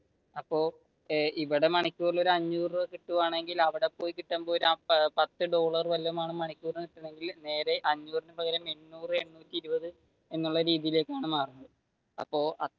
അപ്പൊ ഇവിടെ മണിക്കൂറിൽ ഒരു അഞ്ഞൂറ് രൂപ കിട്ടുവാണെങ്കിൽ അവിടെപ്പോയി കിട്ടുമ്പോ ഒരു പത്തു ഡോളർ വല്ലതുമാണ് മണിക്കൂറിൽ കിട്ടുന്നതെങ്കിൽ നേരെ എന്നുള്ള രീതിയിലേക്കാണ് മാറുന്നത് അപ്പോ